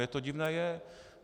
Mně to divné je.